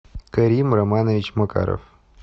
карим романович макаров